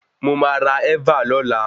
Mo máa ra ẹ́và lọla.